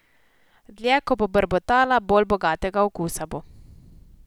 Dlje ko bo brbotala, bolj bogatega okusa bo.